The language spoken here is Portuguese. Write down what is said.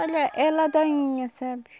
Olha, é ladainha, sabe?